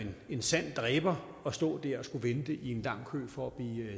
en sand dræber at stå der og skulle vente i en lang kø for at blive